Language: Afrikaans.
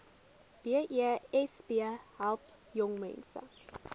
besp help jongmense